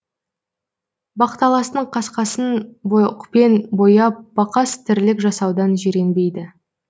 бақталастың қасқасын боқпен бояп бақас тірлік жасаудан жиренбеді